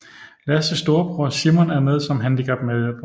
Lasses storebror Simon er med som handicaphjælper